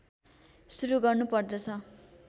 सुरु गर्नुपदर्छ